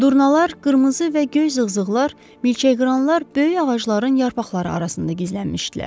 Durmalar, qırmızı və göy zığzığlar, milçəqıranlar böyük ağacların yarpaqları arasında gizlənmişdilər.